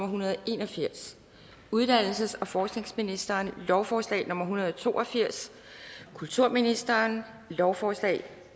hundrede og en og firs uddannelses og forskningsministeren lovforslag nummer l en hundrede og to og firs kulturministeren lovforslag